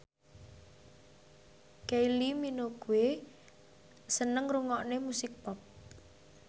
Kylie Minogue seneng ngrungokne musik pop